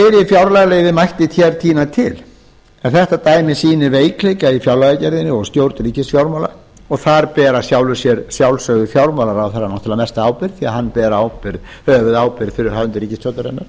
fjárlagaliði mætti tína hér til en þetta dæmi sýnir veikleika í fjárlagagerðinni og stjórn ríkisfjármála og þar ber fjármálaráðherra mesta ábyrgð því hann ber höfuðábyrgð fyrir hönd ríkisstjórnarinnar